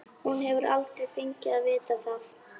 Hún hefur aldrei fengið að vita það.